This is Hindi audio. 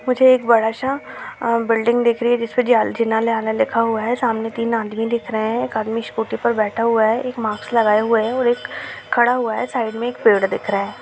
मुझे एक बड़ा सा अ बिल्डिंग दिख रही हैं जिसमे जीला न्यायालय लिखा हुआ हैं सामने तीन आदमी दिख रहा हैं एक आदमी स्कूटी पे बैठा हुआ हैं एक मार्क्स लगाए हुए हैं और एक खड़ा हुआ हैं साइड मे एक पेड़ दिख रहा हैं।